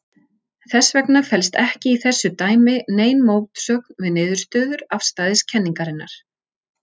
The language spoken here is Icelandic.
Þess vegna felst ekki í þessu dæmi nein mótsögn við niðurstöður afstæðiskenningarinnar.